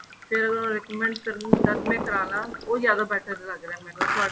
ਤੇ recommend ਕਰਨ ਤਦ ਮੈਂ ਕਰਾਲਾ ਉਹ ਜਿਆਦਾ better ਲੱਗ ਰਿਹਾ ਮੈਂਨੂੰ ਤੁਹਾਡਾ